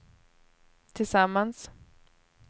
tillsammans